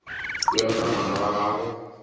bjalo ka ngwana wa gago